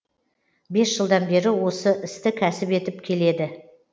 бес жылдан бері осы істі кәсіп етіп келеді